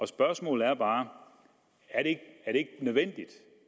spørgsmålet er bare er det ikke nødvendigt